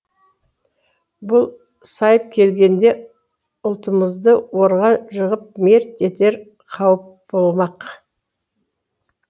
бұл сайып келгенде ұлтымызды орға жығып мерт етер қауіп болмақ